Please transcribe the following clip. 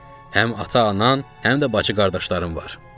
Həm ata-anan, həm də bacı-qardaşların var.